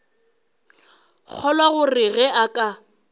kgolwa gore ge a ka